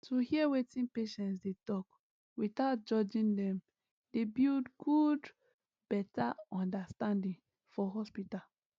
to hear wetin patients dey talk without judging dem dey build good better understanding for hospital